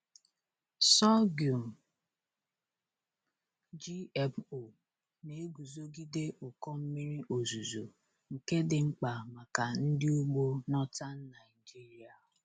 Sorghum GMO na-eguzogide ụkọ mmiri ozuzo, nke dị mkpa maka ndị ugbo Northern Nigeria.